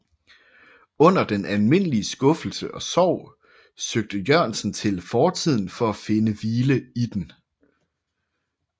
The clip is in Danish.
Under den almindelige skuffelse og sorg søgte Jørgensen til fortiden for at finde hvile i den